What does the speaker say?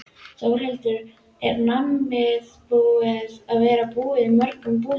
Þórhildur: Er nammið búið að vera búið í mörgum búðum?